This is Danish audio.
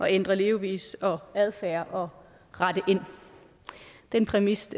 ændre levevis og adfærd og rette ind den præmis